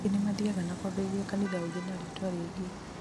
angĩ nĩmathiyaga na kwambĩrĩria kanitha ũngĩ na rĩtwa rĩngĩ